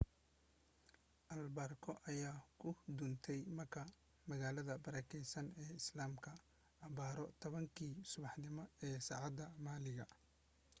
albeerko ayaa ku duntay makka magaalada barakaysan ee islaamka abbaaro 10 kii subaxnimo ee saacadda maxalliga